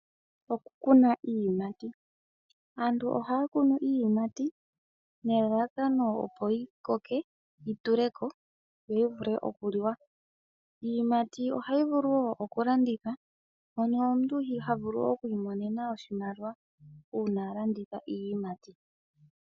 Oku kuna iiyimati, aantu ohaya kunu iiyimati nelalakano opo yi koke, yi tuleko yo yi vule oku liwa. Iiyimati ohayi vulu woo oku landithwa mono omuntu ha vulu oku yiimonena oshimaliwa uuna a landitha iiyimati.